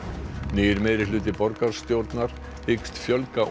nýr meirihluti borgarstjórnar hyggst fjölga